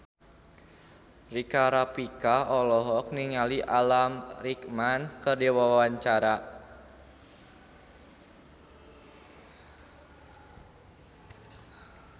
Rika Rafika olohok ningali Alan Rickman keur diwawancara